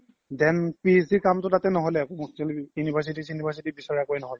then PhD ৰ কামতো তাতে ন্হ্'লে আকৌ hostel university সিউনিৱাছিতি একো বিচাৰা ন্হ্'ল